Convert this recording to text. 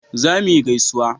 za mu yi gaisuwa